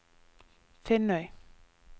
Finnøy